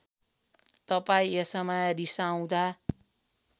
तपाईँ यसमा रिसाउँदा